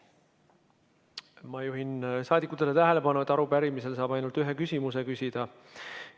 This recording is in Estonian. Ma juhin saadikute tähelepanu sellele, et arupärimise puhul saab ainult ühe küsimuse küsida.